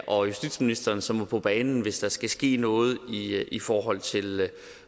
og justitsministeren som må på banen hvis der skal ske noget i forhold til